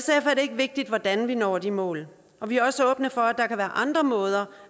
vigtigt hvordan vi når de mål vi er også åbne for at der kan være andre måder